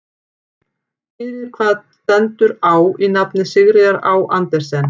Fyrir hvað stendur Á í nafni Sigríðar Á Andersen?